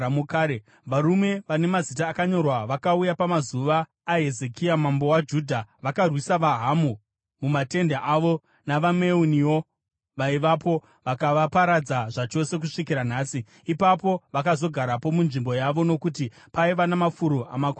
Varume vane mazita akanyorwa vakauya pamazuva aHezekia mambo waJudha. Vakarwisa vaHamu mumatende avo navaMeuniwo vaivapo vakavaparadza zvachose kusvikira nhasi. Ipapo vakazogarapo munzvimbo yavo nokuti paiva namafuro amakwai avo.